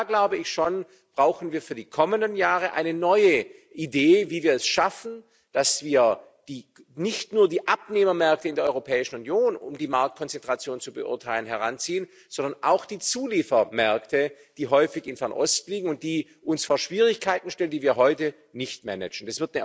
Da, glaube ich schon, brauchen wir für die kommenden Jahre eine neue Idee, wie wir es schaffen, dass wir nicht nur die Abnehmermärkte in der Europäischen Union heranziehen, um die Marktkonzentration zu beurteilen, sondern auch die Zuliefermärkte, die häufig in Fernost liegen und die uns vor Schwierigkeiten stellen, die wir heute nicht managen.